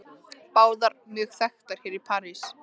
Báðar mjög þekktar hér í París.